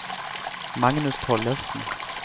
Magnus Tollefsen